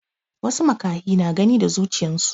wasu makahi na Gani da zuchiyansu